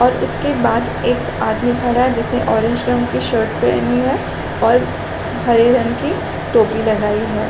और उसके बाद एक आदमी खड़ा है जिसने ऑरेंज रंग की शर्ट पहनी है और हरे रंग की टोपी लगाई है।